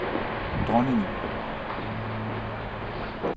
dronningen